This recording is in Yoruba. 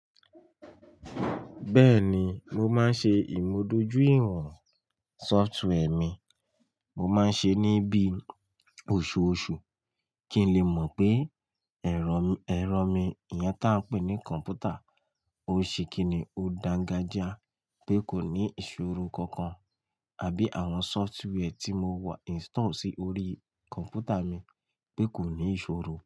Bẹ́ẹ̀ni, mo máa ń ṣe ìmùdójúìwọ̀n sọftwẹ́ẹ̀ mi, mo máa ń ṣe níbí oṣooṣù kí n lè mọ̀ pé ẹ̀rọ mi, ẹ̀rọ mi yẹn táa pè ní kọ̀m̀pútà, ó ṣe kíni ó dangajia pé kò ní ìṣòro kankan àbí àwọn sọftwẹ́ẹ̀ tí mo wà install sí orí kọ̀m̀pútà mi pé kò ní ìṣòro.